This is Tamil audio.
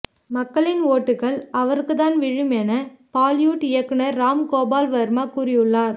மக்களின் ஓட்டுகள் அவருக்குதான் விழும் என பாலிவுட் இயக்குனர் ராம் கோபால் வர்மா கூறியுள்ளார்